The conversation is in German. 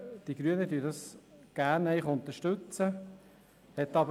Die Grünen unterstützen dies gerne.